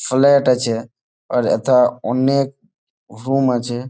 Flat আছে আর এথা অনেক রুম আছে।